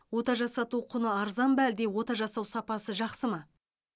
ота жасату құны арзан ба әлде ота жасау сапасы жақсы ма